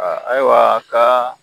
A ayiwa ka